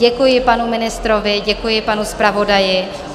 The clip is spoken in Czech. Děkuji panu ministrovi, děkuji panu zpravodaji.